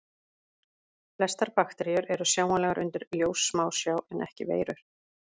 Flestar bakteríur eru sjáanlegar undir ljóssmásjá en ekki veirur.